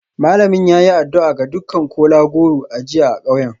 Malamin ya yi addu'a ga dukkan kola-goro a jiya a kauyen.